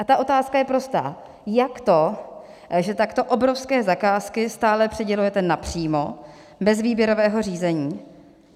A ta otázka je prostá: Jak to, že takto obrovské zakázky stále přidělujete napřímo, bez výběrového řízení?